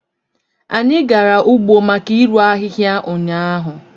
Anyị gara ugbo maka irụ ahịhịa ụnyaahụ